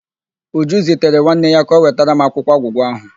Uju zitere nwanne ya ka ọ wetara m akwụkwọ agwụgwa ahụ.